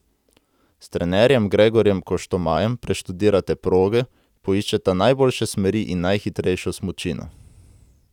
S trenerjem Gregorjem Koštomajem preštudirata proge, poiščeta najboljše smeri in najhitrejšo smučino.